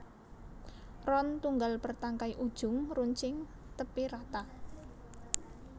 Ron tunggal bértangkai ujung runcing tépi rata